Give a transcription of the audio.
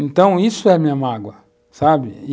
Então, isso é a minha mágoa, sabe?